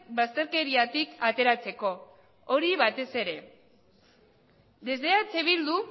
bazterkeriatik ateratzeko hori batez ere desde eh bildu